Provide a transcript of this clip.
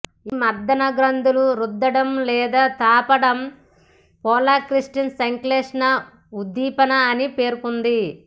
ఇది మర్దన గ్రంధుల రుద్దడం లేదా తాపడం ప్రోలాక్టిన్ సంశ్లేషణ ఉద్దీపన అని పేర్కొంది